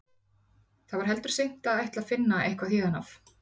Það var heldur seint að ætla að finna eitthvað héðan af.